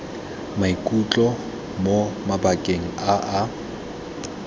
maikutlo mo mabakeng a a